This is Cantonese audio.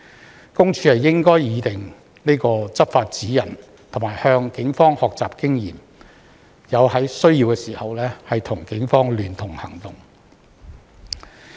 私隱公署應擬訂執法指引，並向警方學習經驗，在有需要時與警方聯合行動。